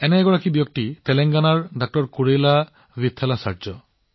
তেনে এজন ব্যক্তি হৈছে তেলেংগানাৰ ড০ কুৰেলা বিথালাচাৰ্যজী